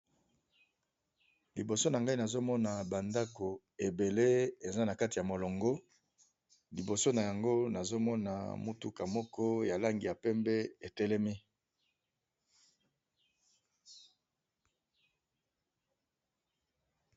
Liboso nangai nazomona ba ndako ebele eza nakati ya molongo , liboso na yango nazo Mona mutuka ya langi ya pembe etelemi.